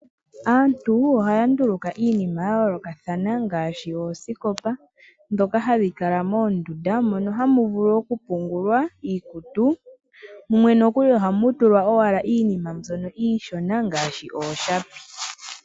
Aantu oha ya nduluka iinima ya yolokathana ngaashi oosikopa dhoka hadhi Kala moondunda mono hamu vulu oku pungulwa iikutu, mumwe nokuli oha mu tulwa owala iinima mbyoka iishona ngaashi ooshapi.